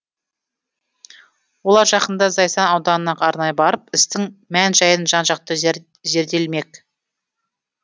олар жақында зайсан ауданына арнайы барып істің мән жайын жан жақты зерделемек